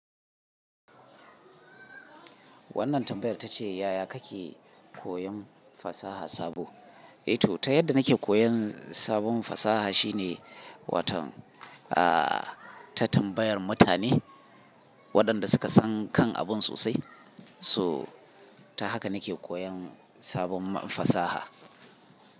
Wannan tambayar tace yaya kake koyon fasaha sabo? Eh to ta yadda nake koyan sabon fasaha shine, waton ah ta tambayar mutane waɗanda suka san kan abun sosai. So ta haka nake koyan sabon fasaha.